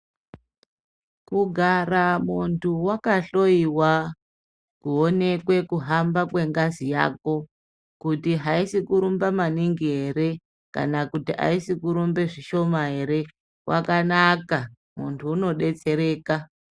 Kugara muntu wakahlowiwa, kuonekwe kuhamba kwengazi yako, kuti haisi kurumba maningi ere kana kuti aisi kurumbe zvishoma ere? Kwakanaka, muntu unodetsereka.